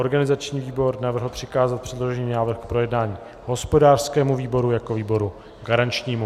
Organizační výbor navrhl přikázat předložený návrh k projednání hospodářskému výboru jako výboru garančnímu.